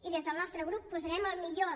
i des del nostre grup posarem el millor